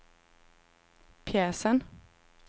pjäsen